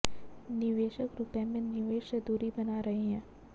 निवेशक रुपए में निवेश से दूरी बना रहे हैं